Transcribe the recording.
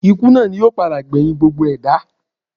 Ikú náà ni yóò padà gbẹ̀yìn gbogbo ẹ̀dá